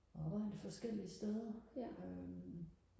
arbejdet forskellige steder øhm